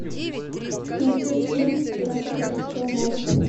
найти фильм пираты карибского моря